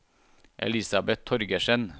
Elisabeth Torgersen